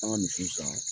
An ka misi san